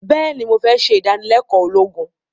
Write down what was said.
béèni mo fé se ìdánilékòó ológun